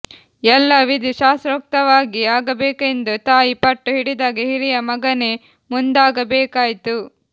ಎಲ್ಲ ವಿಧಿ ಶಾಸ್ತ್ರೋಕ್ತವಾಗಿ ಆಗಬೇಕೆಂದು ತಾಯಿ ಪಟ್ಟು ಹಿಡಿದಾಗ ಹಿರಿಯ ಮಗನೇ ಮುಂದಾಗಬೇಕಾಯ್ತು